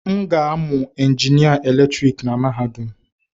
M ga-amụ injinịa eletrik na mahadum.